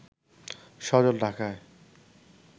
সজল ঢাকায়